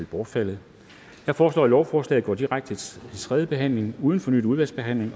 bortfaldet jeg foreslår at lovforslaget går direkte til tredje behandling uden fornyet udvalgsbehandling